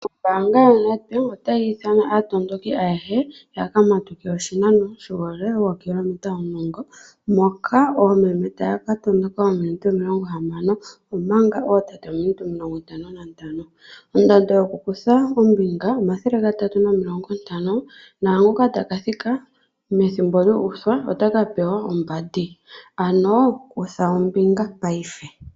Ombaanga yo NedBank otayi ithana aatondoki ayehe ya ka matuke oshinano shuule wookilometa omulongo, moka oomeme taya ka tondoka oominute omilongo hamano, omanga ootate oominute omilongo ntano na ntano. Ondando yokukutha ombinga omathele gatatu nomilongo ntano, nqangoka ta ka thika methimbo lya uthwa ota ka pewa ombandi. Ano kutha ombinga paife.